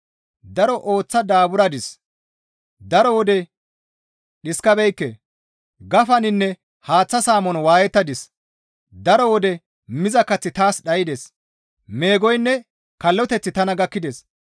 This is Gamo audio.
Daro ooththa daaburadis; daro wode dhiskabeekke; gafaninne haaththa saamon waayettadis; daro wode miza kaththi taas dhaydes; meegoynne kalloteththi tana gakkides.